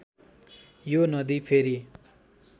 यो नदी फेरी